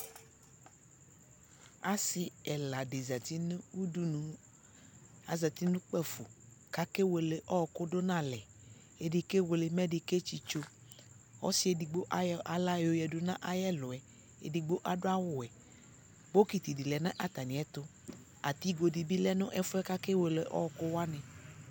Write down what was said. Asi ɛla di zati nʋ udunu, azati nʋ kpafu kʋ akewele ɔɔkʋ dʋ nʋ alɛ Ɛdι kewele ki ɛdi ketsitso Ɔsi edigbo ayɔ aɣla yoyadu nʋ ayʋ ɛlʋ yɛ Edigbo adʋ awuwɛ Bokiti di lɛ nʋ atami ɛtʋ Adι go di bi lɛ nʋ ɛfu yɛ kʋ akewele ɔɔkʋwani